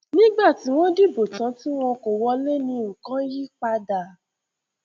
nígbà tí wọn dìbò tán tí wọn kò wọlé ní nǹkan yípadà